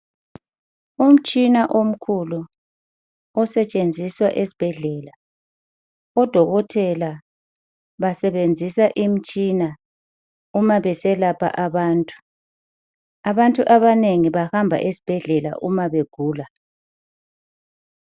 Umtshina omkhulu osetshenziswa esibhedlela odokotela basebenzisa imtshina uma beselapha abantu abantu abanengi bahamba esibhedlela uma begula